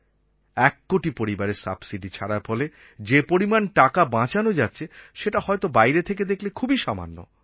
এক কোটি পরিবারের সাবসিডি ছাড়ার ফলে যে পরিমান টাকা বাঁচানো যাচ্ছে সেটা হয়তো বাইরে থেকে দেখলে খুবই সামান্য